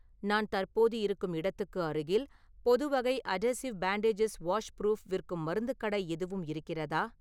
நான் தற்போது இருக்கும் இடத்துக்கு அருகில் பொதுவகை அதேசிவ் பேன்டேஜஸ் வாஷ்புரூஃப் விற்கும் மருந்துக் கடை எதுவும் இருக்கிறதா?